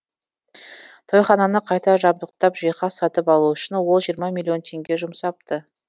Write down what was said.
тойхананы қайта жабдықтап жиһаз сатып алу үшін ол жирырма миллион теңге жұмсапты